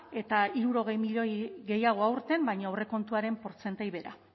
eta hirurogei milioi gehiago aurten baina aurrekontuaren portzentai bera